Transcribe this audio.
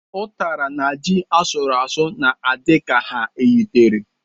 Utara na ji asụrụ asụ na-adi ka ha yitere.